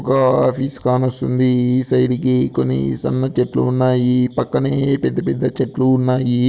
గా ఆఫీస్ కానొస్తుంది ఈ సైడుకి కొన్ని సన్న చెట్లు ఉన్నాయి పక్కనే పెద్ద పెద్ద చెట్లు ఉన్నాయి.